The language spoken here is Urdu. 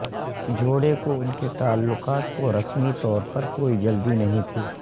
جوڑے کو ان کے تعلقات کو رسمی طور پر کوئی جلدی نہیں تھی